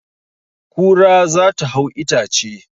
Kura za ta hau itace